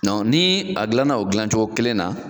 Nɔn ni a gilanna o dilancogo kelen na